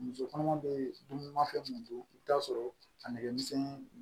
Muso kɔnɔma be dumunimafɛn mun don i bi t'a sɔrɔ a nɛgɛmisɛnnin